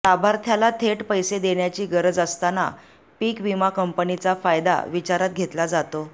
लाभार्थ्याला थेट पैसे देण्याची गरज असताना पीकविमा कंपनीचा फायदा विचारात घेतला जातो